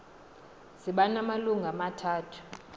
ziba namalungu amathathu